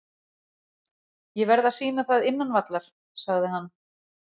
Ég verð að sýna það innan vallar, sagði hann.